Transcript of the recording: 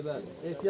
Bəli, bəli.